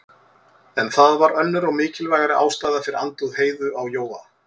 En það var önnur og mikilvægari ástæða fyrir andúð Heiðu á Jóa.